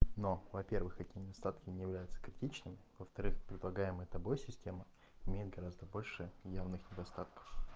но во-первых эти недостатки не являются критичными во-вторых предлагаемая тобой система имеет гораздо больше явных недостатков